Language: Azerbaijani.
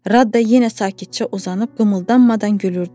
Rada yenə sakitcə uzanıb qımıldanmadan gülürdü.